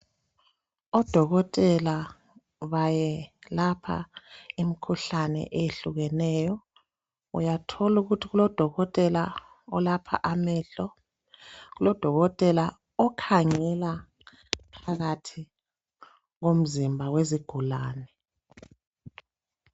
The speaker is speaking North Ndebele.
Odokotela bayelapha imikhuhlane eyehlukeneyo. Uyathola ukuthi kulodokotela olapha amehlo, kulodokotela okhangela phakathi komzimba wezigulane.